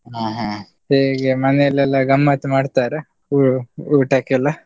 ಹ ಹ, ಹೇಗೆ ಮನೆಲೆಲ್ಲಾ ಗಮ್ಮತ್ ಮಾಡ್ತಾರೆ, ಊ~ ಊಟಕ್ಕೆಲ್ಲ?